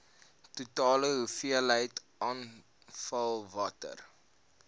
totale hoeveelheid afvalwater